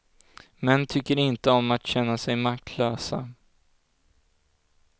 Män tycker inte om att känna sig maktlösa.